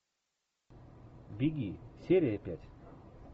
беги серия пять